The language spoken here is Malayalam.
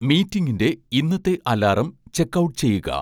മീറ്റിംഗിന്റെ ഇന്നത്തെ അലാറം ചെക്ക്ഔട്ട് ചെയ്യുക